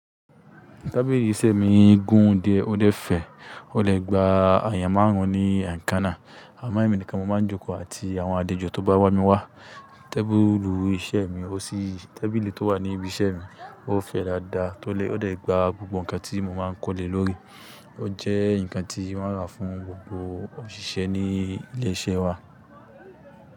Tábìlì iṣẹ́ mi gún díẹ̀ ó dẹ́ fẹ̀ẹ̀. Ó lè gba èèyàn máàrún ní ẹ̀kán nà. Àmọ ẹ́mí nìkan mo máa ń jókòó àti àwọn àlejò tó bá wá mi wá. Tábìlì iṣẹ́ mi, ó ṣí tábìlì tó wà ní ibi iṣẹ́ mi, ó fẹ̀ẹ̀ dáadáa tó lè ó lè gba gbogbo ǹkan tí mo máa ń kó lè lórí. Ó jẹ́ ǹkan tí wọ́n rà fún gbogbo òṣìṣẹ́ ní ilé iṣẹ́ wa.